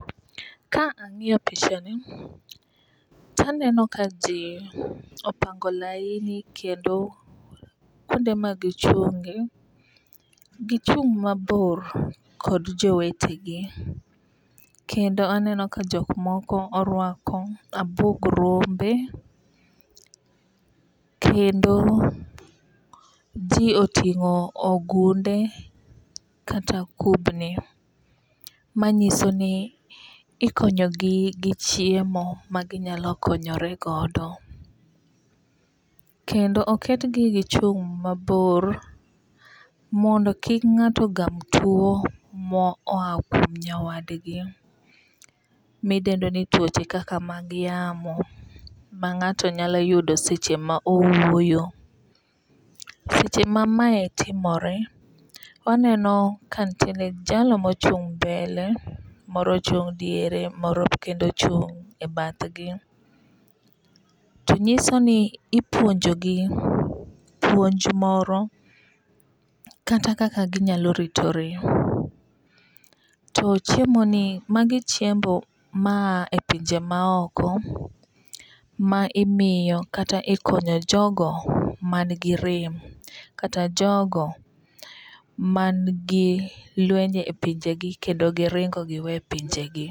Ka ang'iyo pichani to aneno ka ji opango laini kendo kuonde ma gichunge gichung' mabor kod jowetegi. Kendo aneno ka jok moko orwako abuog rombe. Kendo ji otingo ogunde kata kubni. Manyiso ni ikonyo gi chiemo maginyalo konyoregodo. Kendo oketgi gichung' mabor mondo kik ng'ato gam tuo moa kuom nyawadgi midendo ni tuoche kaka mag yamo ma ng'ato nyalo yudo seche ma owuoyo. Seche ma mae timore waneno ka nitiere jalno mochung' mbele, moro ochung' e diere, moro ochung' e bathgi. To nyiso ni ipuonjo gi puonj moro kata kaka ginyalo ritore. To chiemo ni magi chiemo ma a e pinje ma oko ma imiyo kata ikonyo jogo man gi rem kata jogo man gi lwenje e pinje gi kendo giringo giwe pinje gi.